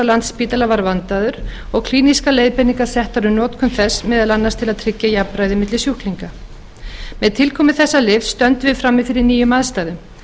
landspítala var vandaður og klínískar leiðbeiningar settar um notkun þess meðal annars til að tryggja jafnræði milli sjúklinga með tilkomu þessa lyfs stöndum við frammi fyrir nýjum aðstæðum